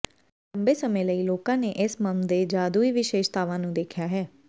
ਲੰਬੇ ਸਮੇਂ ਲਈ ਲੋਕਾਂ ਨੇ ਇਸ ਮਮ ਦੇ ਜਾਦੂਈ ਵਿਸ਼ੇਸ਼ਤਾਵਾਂ ਨੂੰ ਦੇਖਿਆ ਹੈ